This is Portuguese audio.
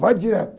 Vai direto.